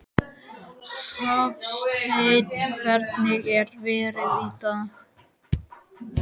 Hafsteinn, hvernig er veðrið í dag?